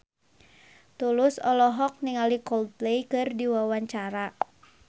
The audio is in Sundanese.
Tulus olohok ningali Coldplay keur diwawancara